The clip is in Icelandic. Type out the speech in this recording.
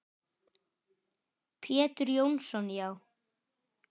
Pétur Jónsson Já.